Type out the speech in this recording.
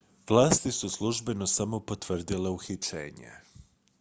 vlasti su službeno samo potvrdile uhićenje